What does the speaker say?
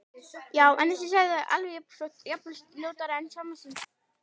Já- en þessi sagði alveg jafn ljótt, jafnvel ljótara En að skammast sín?